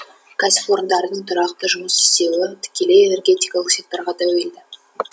кәсіпорындардың тұрақты жұмыс істеуі тікелей энергетикалық секторға тәуелді